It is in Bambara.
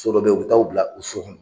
So dɔ be yen, u bi taa u bila o so kɔnɔ.